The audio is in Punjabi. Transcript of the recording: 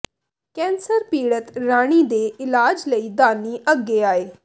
ਕੈਂਸਰ ਪੀੜਤ ਰਾਣੀ ਦੇ ਇਲਾਜ ਲਈ ਦਾਨੀ ਅੱਗੇ ਆਏ